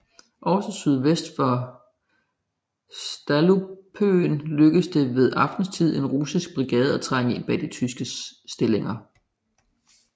Også sydvest for Stallupönen lykkedes det ved aftenstid en russisk brigade at trænge ind bag de tyske stillinger